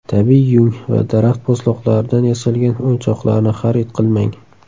Tabiiy yung va daraxt po‘stloqlaridan yasalgan o‘yinchoqlarni xarid qilmang.